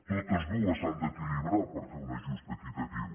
totes dues s’han d’equilibrar per fer un ajust equitatiu